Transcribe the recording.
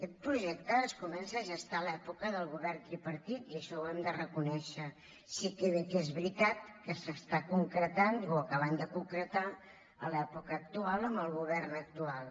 aquest projecte es comença a gestar a l’època del govern tripartit i això ho hem de reconèixer sí que bé que és veritat que s’està concretant i ho acabem de concretar a l’època actual amb el govern actual